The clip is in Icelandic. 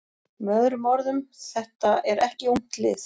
Með öðrum orðum: Þetta er ekki ungt lið.